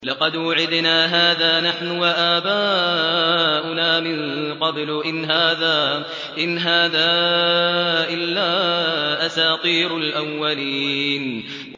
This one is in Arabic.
لَقَدْ وُعِدْنَا هَٰذَا نَحْنُ وَآبَاؤُنَا مِن قَبْلُ إِنْ هَٰذَا إِلَّا أَسَاطِيرُ الْأَوَّلِينَ